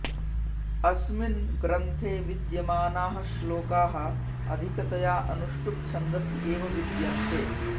अस्मिन् ग्रन्थे विद्यमानाः श्लोकाः अधिकतया अनुष्टुप् छन्दसि एव विद्यन्ते